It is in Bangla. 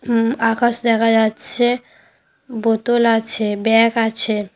ঊম আকাশ দেখা যাচ্ছে বোতল আছে ব্যাগ আছে ।